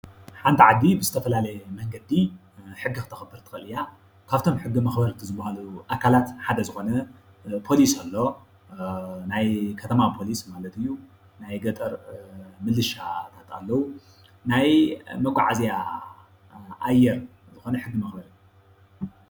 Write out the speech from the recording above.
ሓንቲ ዓዲ ብዝተፈላለየ መንገዲ ሕጊ ክተኽብር ትክእል እያ። ካብኣቶም ሕጊ መኸበርቲ ዝባሃሉ ኣካላት ሓደ ዝኾነ ፖሊስ ኣሎ ።ናይ ከተማ ፖሊሰ ማለት እዩ ።ናይ ገጠር ምልሻታት ኣለዉ ፣ናይ መጋዓዝያ ኣየር ዝኾነ ሕጊ መኽበሪ።